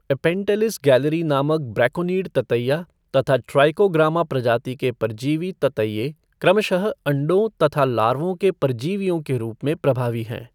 Apanteles galleriae नामक braconid ततैइया तथा ट्राइकोग्रामा प्रजाति के परजीवी ततैइए क्रमशः अण्डों तथा लार्वों के परजीवियों के रूप में प्रभावी हैं।